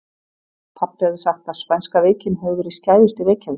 Pabbi hafði sagt að spænska veikin hefði verið skæðust í Reykjavík.